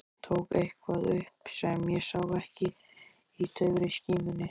Tók eitthvað upp sem ég sá ekki í daufri skímunni.